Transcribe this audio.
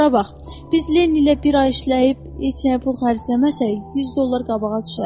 Bura bax, biz Lenney ilə bir ay işləyib heç nəyə pul xərcləməsək, 100 dollar qabağa düşərik.